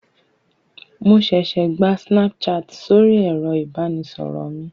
Mo ṣẹṣẹ gba Snapchat sóri ẹ̀rọ ìbánisọ̀rọ̀ mi.